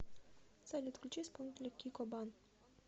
салют включи исполнителя кико бан